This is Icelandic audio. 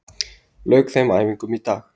Lauk þeim æfingum í dag